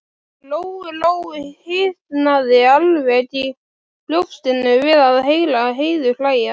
Lóu-Lóu hitnaði alveg í brjóstinu við að heyra Heiðu hlæja.